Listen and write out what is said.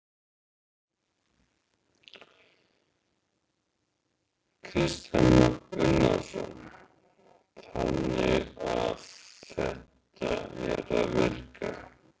Kristján Már Unnarsson: Þannig að þetta er að virka?